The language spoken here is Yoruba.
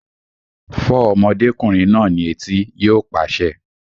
Fọ́ ọmọdékùnrin náà ní etí! Yóò pàṣẹ